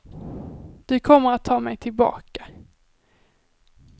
Du kommer att ta mig tillbaka.